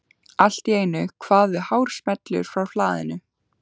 Allt í einu kvað við hár smellur frá hlaðinu.